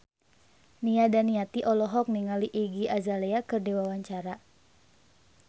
Nia Daniati olohok ningali Iggy Azalea keur diwawancara